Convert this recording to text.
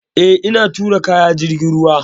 Eh, ina tura kaya ta jirgin ruwa.